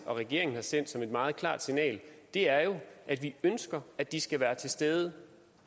regeringen har sendt som et meget klart signal er jo at vi ønsker at de skal være til stede